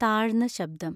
താഴ്ന്ന ശബ്ദം